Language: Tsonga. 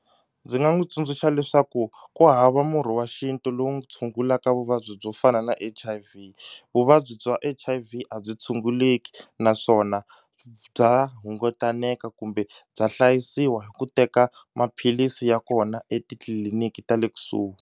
Ndzi nga n'wi tsundzuxa leswaku ku hava murhi wa xintu lowu tshungulaka vuvabyi byo fana na H_I_V vuvabyi bya H_I_V a byi tshunguleki naswona bya hungutaneka kumbe bya hlayisiwa hi ku teka maphilisi ya kona etitliliniki ta le kusuhi.